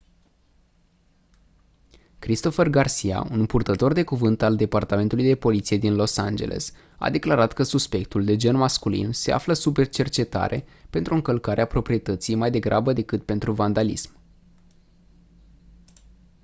christopher garcia un purtător de cuvânt al departamentului de poliție din los angeles a declarat că suspectul de gen masculin se află sub cercetare pentru încălcarea proprietății mai degrabă decât pentru vandalism